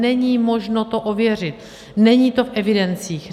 Není možno to ověřit, není to v evidencích.